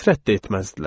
Nifrət də etməzdilər.